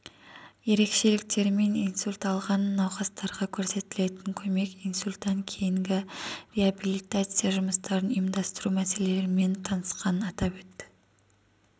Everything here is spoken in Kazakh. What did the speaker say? ерекшеліктерімен инсульт алған наукастарға көрсетілетін көмек инсультан кейінгі реабилитация жұмыстарын ұйымдастыру мәселелерімен танысқанын атап өтті